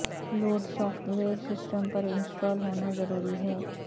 load software system پر install ہونا ضروری ہے